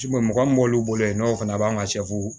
mɔgɔ min b'olu bolo yen n'o fana b'an ka